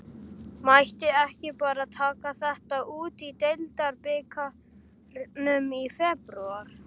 Mætti ekki bara taka þetta út í deildarbikarnum í febrúar?